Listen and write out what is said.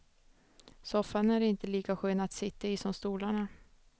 Soffan är inte lika skön att sitta i som stolarna.